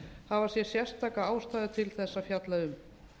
hafa séð sérstaka ástæðu til að fjalla um